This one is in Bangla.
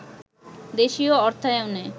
দেশীয় অর্থায়নে